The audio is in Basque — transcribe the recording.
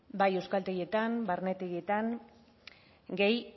bai euskaltegietan barnetegietan gehi